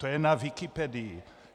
To je na Wikipedii.